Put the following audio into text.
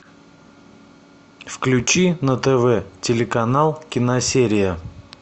включи на тв телеканал киносерия